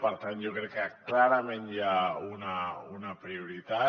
per tant jo crec que clarament hi ha una prioritat